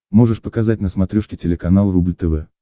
можешь показать на смотрешке телеканал рубль тв